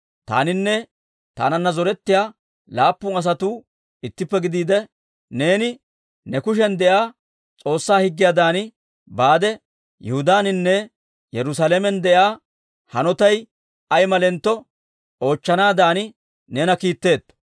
Taaninne taananna zorettiyaa laappun asatuu ittippe gidiide, neeni ne kushiyan de'iyaa S'oossaa Higgiyaadan, baade Yihudaaninne Yerusaalamen de'iyaa hanotay ay malentto oochchanaadan neena kiitteetto.